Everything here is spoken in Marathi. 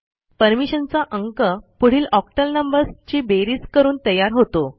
परमिशनचा अंक पुढील ऑक्टल नंबर्स ची बेरीज करून तयार होतो